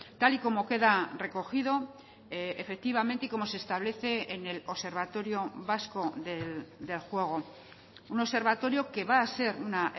tal y como queda recogido efectivamente y como se establece en el observatorio vasco del juego un observatorio que va a ser una